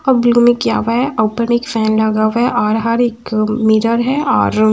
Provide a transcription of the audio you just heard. किआ हुआ है ओपेनिक फैन लगा हुआ है और एक मिरर है और --